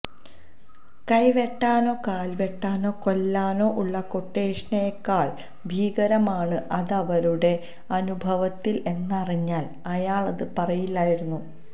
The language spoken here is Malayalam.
കൈ വെട്ടാനോ കാല് വെട്ടാനോ കൊല്ലാനോ ഉള്ള ക്വട്ടേഷനേക്കാള് ഭീകരമാണ് അതവരുടെ അനുഭവത്തില് എന്നറിഞ്ഞാല് അയാളത് പറയില്ലായിരുന്നു